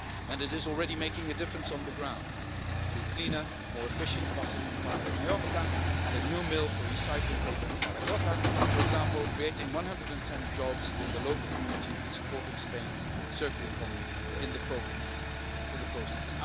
It is already making a difference on the ground through cleaner, more efficient buses in Palma de Mallorca and a new mill for recycling paper in Zaragoza for example, creating 110 jobs in the local community and supporting Spain's circular economy in the process.